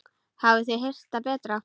Hafið þið heyrt það betra.